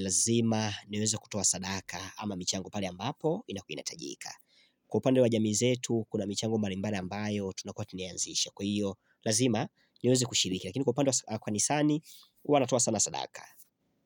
Lazima niweze kutoa sadaka ama michango pale ambapo inapohitajika Kwa upande wa jamii zetu kuna michango mbalimbali ambayo tunakua tumeanzisha Kwa hivyo, lazima niweze kushiriki lakini kwa upande wa kanisani huwa natoa sana sadaka.